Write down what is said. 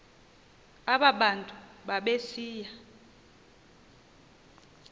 aba bantu babesiya